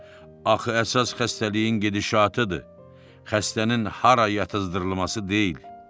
Axı əsas xəstəliyin gedişatıdır, xəstənin hara yatızdırılması deyil.